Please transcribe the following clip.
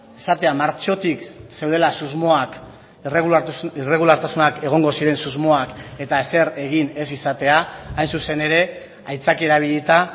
esatea martxotik zeudela susmoak irregulartasunak egongo ziren susmoak eta ezer egin ez izatea hain zuzen ere aitzaki erabilita